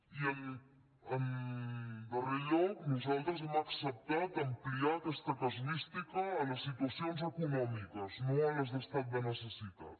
i en darrer lloc nosaltres hem acceptat ampliar aquesta casuística a les situacions econòmiques no a les d’estat de necessitat